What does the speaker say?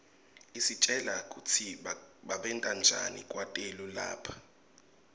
isitjela kutsi babentanjani kwetelu lapha